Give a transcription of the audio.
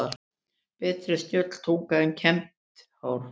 Betri er snjöll tunga en kembt hár.